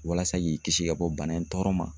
Walasa k'i kisi ka bɔ bana in tɔɔrɔ ma.